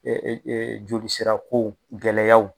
jolisirako gɛlɛyaw.